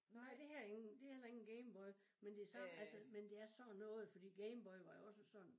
Nej det her er ingen det heller ikke en Game Boy men det samme altså men det er sådan noget fordi Game Boy var jo også sådan